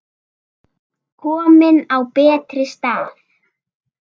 Komin á betri stað.